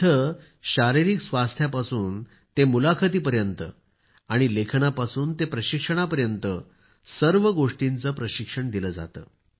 इथे शारीरिक स्वास्थ्यापासून ते मुलाखती पर्यंत आणि लेखनापासून ते प्रशिक्षणा पर्यंत सर्व गोष्टींचे प्रशिक्षण दिले जाते